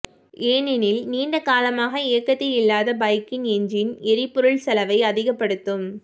ஏனெனில் நீண்ட காலமாக இயக்கத்தில் இல்லாத பைக்கின் என்ஜின் எரிபொருள் செலவை அதிகப்படுத்தும்